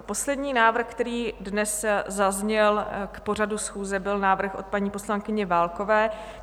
Poslední návrh, který dnes zazněl k pořadu schůze, byl návrh od paní poslankyně Válkové.